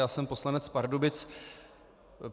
Já jsem poslanec Pardubic.